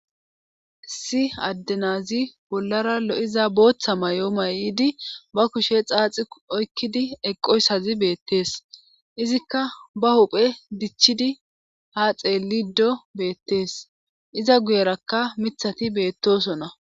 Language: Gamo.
si addenazi bollara lo7iza booththa may7o may7idi ba kushe xaaxi oykkidi eqqoysazi beettees izikka ba huphe dichidi ha xeelido beettees iza guyerakka mithati beettosona